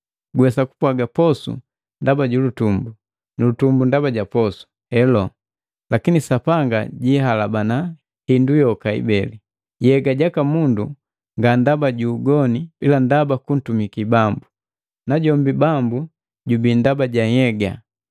Guwesa kupwaga, “Posu ndaba julutumbu, nulutumbu ndaba ja posu.” Helo, lakini Sapanga jihalabana hindu yoka ibeli. Yega jaka mundu nga ndaba ju ugoni ila ndaba kuntumaki Bambu, najombi Bambu jubii ndaba ja nhyega.